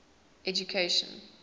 education